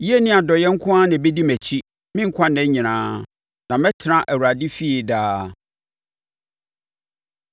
Yie ne adɔeɛ nko na ɛbɛdi mʼakyi me nkwa nna nyinaa; na mɛtena Awurade fie daa.